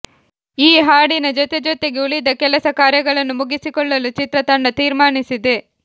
ಈ ಹಾಡಿನ ಜೊತೆ ಜೊತೆಗೇ ಉಳಿದ ಕೆಲಸ ಕಾರ್ಯಗಳನ್ನು ಮುಗಿಸಿಕೊಳ್ಳಲು ಚಿತ್ರ ತಂಡ ತೀರ್ಮಾನಿಸಿದೆ